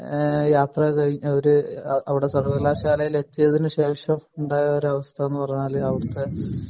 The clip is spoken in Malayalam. പിന്നെ യാത്ര കഴിഞ്ഞു അവിടെ സർവ്വകലാശാലയിൽ എത്തിയതിനു ശേഷം ഉണ്ടായ ഒരവസ്ഥ എന്ന് പറഞ്ഞാൽ അവിടുത്തെ